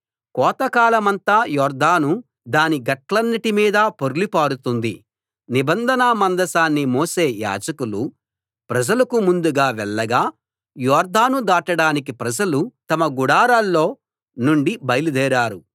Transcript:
కోతకాలమంతా యొర్దాను దాని గట్లన్నిటి మీదా పొర్లి పారుతుంది నిబంధన మందసాన్ని మోసే యాజకులు ప్రజలకు ముందు వెళ్లగా యొర్దాను దాటడానికి ప్రజలు తమ గుడారాల్లో నుండి బయలుదేరారు